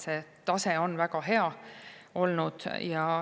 See tase on väga hea olnud.